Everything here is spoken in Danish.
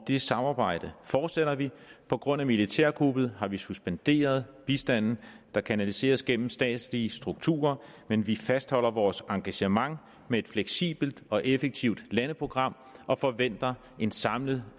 det samarbejde fortsætter vi på grund af militærkuppet har vi suspenderet bistanden der kanaliseres gennem statslige strukturer men vi fastholder vores engagement med et fleksibelt og effektivt landeprogram og forventer en samlet